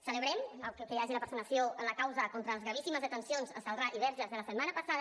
celebrem que hi hagi la personació en la causa contra les gravíssimes de·tencions a celrà i a verges de la setmana passada